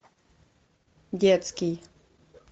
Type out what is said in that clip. детский